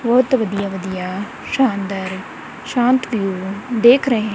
ਬਹੁਤ ਵਧੀਆ ਵਧੀਆ ਸ਼ਾਨਦਾਰ ਸ਼ਾਂਤ ਵਿਊ ਦੇਖ ਰਹੇ--